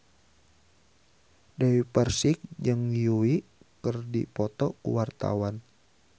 Dewi Persik jeung Yui keur dipoto ku wartawan